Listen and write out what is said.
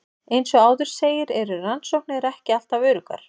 Eins og áður segir eru rannsóknir ekki alltaf öruggar.